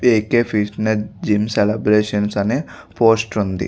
AK. Fitness gym celebrations అనే poster ఉంది.